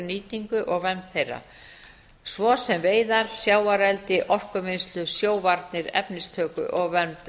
nýtingu og vernd þeirra svo sem veiðar sjávareldi orkuvinnslu sjóvarnir efnistöku og vernd